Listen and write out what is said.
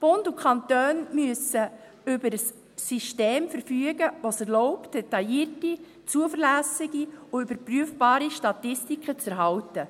Bund und Kantone müssen über ein System verfügen, das es erlaubt, detaillierte, zuverlässige und überprüfbare Statistiken zu erhalten.